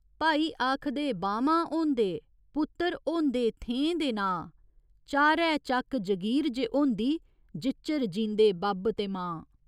भाई आखदे बाह्‌मां होंदे, पुत्तर होंदे थेहें दे नांऽ चारै चक्क जगीर जे होंदी जिच्चर जींदे बब्ब ते मां।